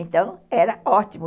Então, era ótimo.